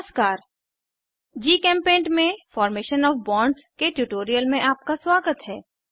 नमस्कार जीचेम्पेंट में formation O F bonds के ट्यूटोरियल में आपका स्वागत है